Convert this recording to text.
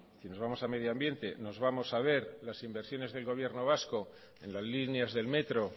si nos vamos a medio ambiente nos vamos a ver las inversiones del gobierno vasco en las líneas del metro